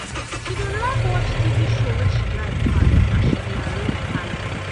she dey like watch tv show wey she like pass as she dey arrange parlour.